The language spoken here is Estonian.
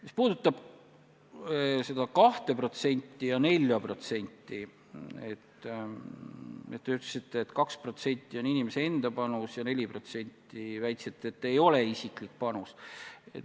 Mis puudutab 2% ja 4%, siis te ütlesite, et 2% on inimese enda panus ja 4% ei ole isiklik panus.